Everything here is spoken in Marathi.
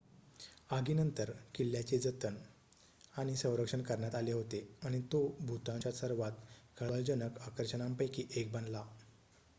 आगीनंतर किल्ल्याचे जतन आणि संरक्षण करण्यात आले होते आणि तो भूतानच्या सर्वात खळबळजनक आकर्षणांपैकी एक बनला